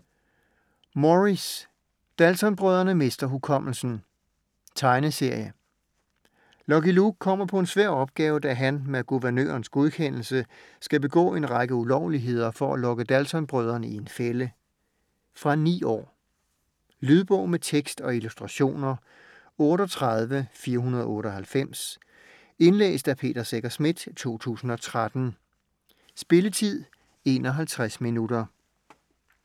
Morris: Dalton-brødrene mister hukommelsen Tegneserie. Lucky Luke kommer på en svær opgave, da han - med guvernørens godkendelse - skal begå en række ulovligheder for at lokke Dalton-brødrene i en fælde. Fra 9 år. Lydbog med tekst og illustrationer 38498 Indlæst af Peter Secher Schmidt, 2013. Spilletid: 0 timer, 51 minutter.